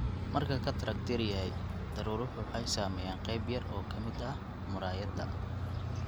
Marka cataract yar yahay, daruuruhu waxay saameeyaan qayb yar oo ka mid ah muraayadda.